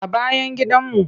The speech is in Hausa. A bayan gidanmu.